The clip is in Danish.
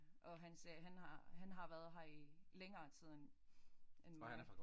Og han sagde han har han har været her i længere tid end end mig